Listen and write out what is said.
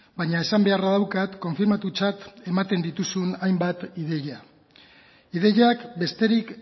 baina esan beharra daukat konfirmatutzat ematen dituzun hainbat ideia ideiak besterik